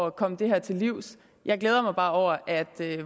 at komme det her til livs jeg glæder mig bare over at